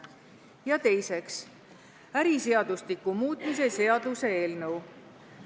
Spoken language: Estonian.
Ja teiseks, äriseadustiku muutmise seaduse eelnõu.